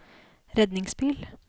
redningsbil